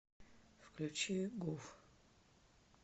включи гуф